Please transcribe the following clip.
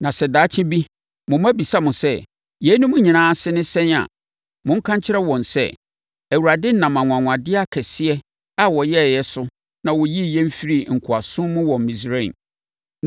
“Na sɛ daakye bi mo mma bisa mo sɛ, ‘Yeinom nyinaa ase ne sɛn a, monka nkyerɛ wɔn sɛ, Awurade nam anwanwadeɛ akɛseɛ a ɔyɛeɛ so na ɔyii yɛn firii nkoasom mu wɔ Misraim.